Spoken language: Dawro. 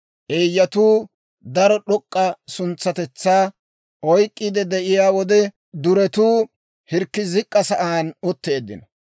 Eeyyatuu daro d'ok'k'a suntsatetsaa oyk'k'iide de'iyaa wode, duretuu hirkki zik'k'a sa'aan utteeddino.